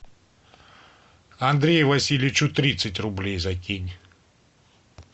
андрею васильевичу тридцать рублей закинь